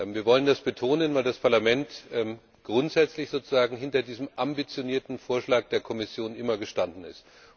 Wir wollen das betonen, weil das Parlament immer grundsätzlich hinter diesem ambitionierten Vorschlag der Kommission gestanden ist.